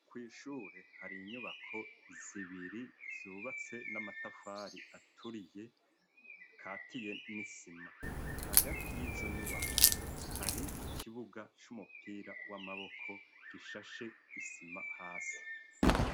Kwishure hari inyubako zibiri zubatse n'amatafari aturiye katiye n'isima, hagati y'izo nyubako hari ikibuga c'umupira w'amaboko gishashe isima hasi.